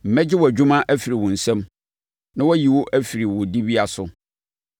Mɛgye wʼadwuma afiri wo nsa mu na wɔayi wo afiri wo dibea so.